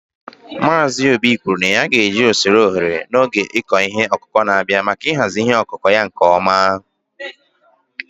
Mazị obi kwuru na ya ga-eji usoro oghere n'oge ịkọ ihe ọkụkụ na-abịa, maka ịhazi ihe ọkụkụ ya nke ọma.